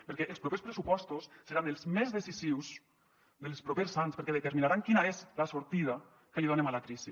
perquè els propers pressupostos seran els més decisius dels propers anys perquè determinaran quina és la sortida que li donem a la crisi